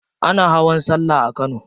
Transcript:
Ana hawan sallah a kano.